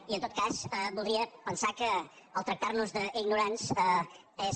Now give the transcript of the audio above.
i en tot cas voldria pensar que el tractar nos d’ignorants és